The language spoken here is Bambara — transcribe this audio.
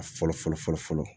A fɔlɔ fɔlɔ fɔlɔ fɔlɔ